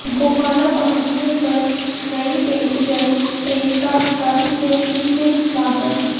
गोहाना पहुंचने पर नयी पैसेंजर ट्रेन का गर्मजोशी से स्वागत